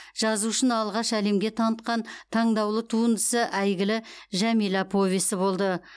жазушыны алғаш әлемге танытқан таңдаулы туындысы әйгілі жәмила повесі болды